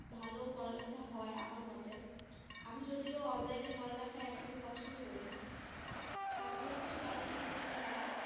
ভালো পড়ালেখা হয়, আমার মতে আমি যদিও online এ পড়ালেখা একদমই পছন্দ করি না তারপরেও কিছু করার নাই, করতে হয়।